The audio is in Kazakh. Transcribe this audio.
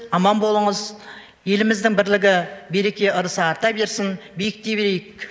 аман болыңыз еліміздің бірлігі береке ырысы арта берсін биіктей берейік